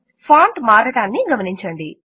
font మారడాన్ని గమనించండి